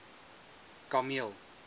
kameel